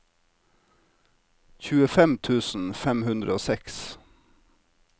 tjuefem tusen fem hundre og seks